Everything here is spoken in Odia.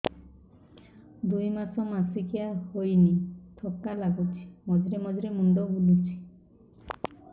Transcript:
ଦୁଇ ମାସ ମାସିକିଆ ହେଇନି ଥକା ଲାଗୁଚି ମଝିରେ ମଝିରେ ମୁଣ୍ଡ ବୁଲୁଛି